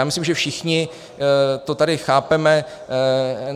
Já myslím, že všichni to tady chápeme.